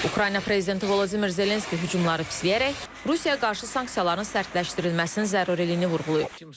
Ukrayna prezidenti Vladimir Zelenski hücumları pisləyərək, Rusiyaya qarşı sanksiyaların sərtləşdirilməsinin zəruriliyini vurğulayıb.